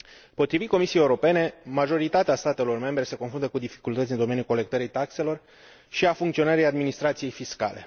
Potrivit Comisiei Europene, majoritatea statelor membre se confruntă cu dificultăți în domeniul colectării taxelor și al funcționării administrației fiscale.